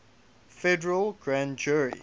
federal grand jury